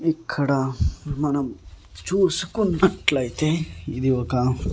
ఇక్కడ మనం చూసుకున్నట్లయితే ఇది ఒక--